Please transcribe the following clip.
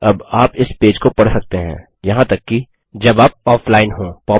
अब आप इस पेज को पढ़ सकते हैं यहाँ तक कि जब आप ऑफलाइन हों